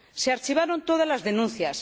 Se archivaron todas las denuncias.